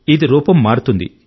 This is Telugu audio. ఇది రూపం మారుతుంది